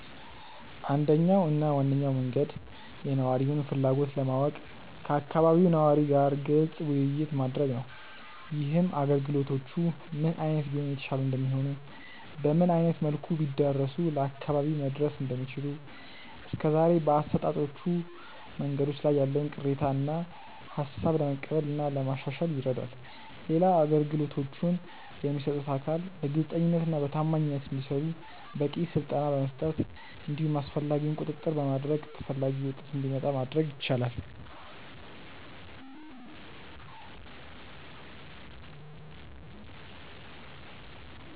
አንደኛው እና ዋነኛው መንገድ የነዋሪውን ፍላጎት ለማወቅ ከአካባቢው ነዋሪ ጋር ግልጽ ውይይት ማድረግ ነው። ይህም አገልግሎቶቹ ምን አይነት ቢሆኑ የተሻሉ እንደሚሆኑ፤ በምን አይነት መልኩ ቢዳረሱ ለአካባቢው መድረስ እንደሚችሉ፤ እስከዛሬ በአሰጣጦቹ መንገዶች ላይ ያለውን ቅሬታ እና ሃሳብ ለመቀበል እና ለማሻሻል ይረዳል። ሌላው አገልግሎቶቹን የሚሰጡት አካል በግልጸኝነት እና በታማኝነት እንዲሰሩ በቂ ስልጠና በመስጠት እንዲሁም አስፈላጊውን ቁጥጥር በማድረግ ተፈላጊው ውጤት እንዲመጣ ማድረግ ይቻላል።